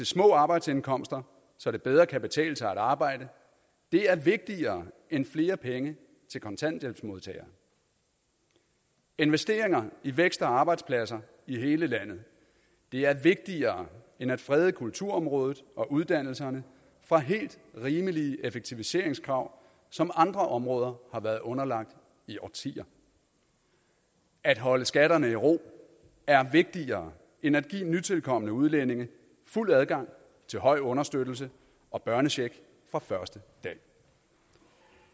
små arbejdsindkomster så det bedre kan betale sig at arbejde er vigtigere end flere penge til kontanthjælpsmodtagere investeringer i vækst og arbejdspladser i hele landet er vigtigere end at frede kulturområdet og uddannelserne fra helt rimelige effektiviseringskrav som andre områder har været underlagt i årtier at holde skatterne i ro er vigtigere end at give nytilkomne udlændinge fuld adgang til høj understøttelse og børnecheck fra første dag og